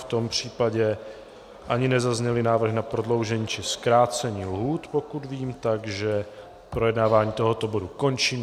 V tom případě - ani nezazněly návrhy na prodloužení či zkrácení lhůt, pokud vím, takže projednávání tohoto bodu končím.